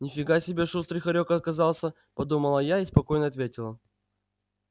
ни фига себе шустрый хорёк оказался подумала я и спокойно ответила